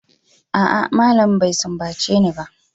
A'a, malamin bai sumbace ni ba.